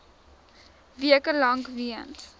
weke lank weens